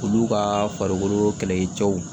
Olu ka farikolo kɛlɛkɛcɛw